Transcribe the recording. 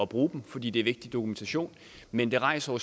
bruge dem fordi det er vigtig dokumentation men det rejser jo